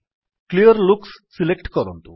Clearlooks select କରନ୍ତୁ